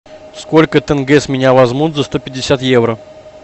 сколько тенге с меня возьмут за сто пятьдесят евро